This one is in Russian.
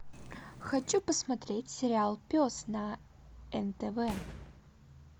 хочу посмотреть сериал пес на нтв